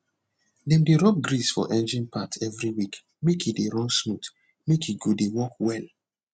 dem dey rub grease for engine part every week make e dey run smooth make e go de work well